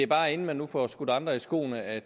bare inden man nu får skudt andre i skoene at